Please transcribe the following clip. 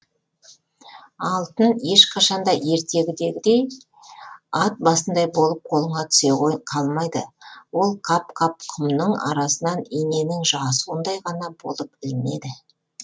алтын ешқашан да ертегідегідей ат басындай болып қолыңа түсе қалмайды ол қап қап құмның арасынан иненің жасуындай ғана болып ілінеді